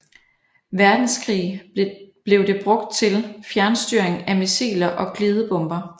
Verdenskrig blev det brugt til fjernstyring af missiler og glidebomber